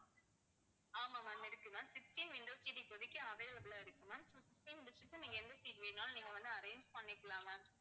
ஆமா ma'am இருக்கு ma'am sixteen window seat இப்போதைக்கு available ஆ இருக்கு ma'am sixteen seat ல நீங்க எந்த seat வேணாலும் நீங்க வந்து arrange பண்ணிக்கலாம் ma'am